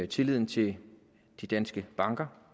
tilliden til de danske banker